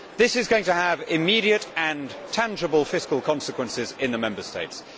This is going to have immediate and tangible fiscal consequences in the Member States.